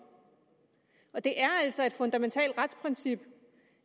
og det er altså et fundamentalt retsprincip